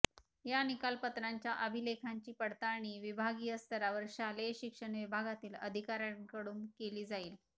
या निकालपत्रांच्या अभिलेखांची पडताळणी विभागीय स्तरावर शालेय शिक्षण विभागातील अधिकाऱ्यांकडून केली जाईल